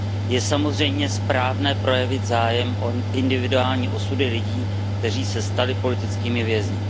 Je samozřejmě správné projevit zájem o individuální osudy lidí, kteří se stali politickými vězni.